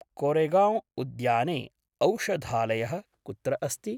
कोरेगौं उद्याने औषधालयः कुत्र अस्ति?